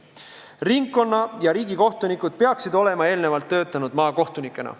Ringkonna- ja riigikohtunikud peaksid olema eelnevalt töötanud maakohtunikena.